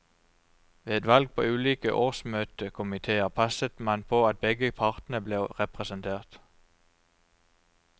Ved valg på ulike årsmøtekomiteer passet man på at begge partene ble representert.